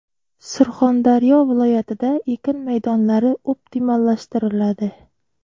Surxondaryo viloyatida ekin maydonlari optimallashtiriladi.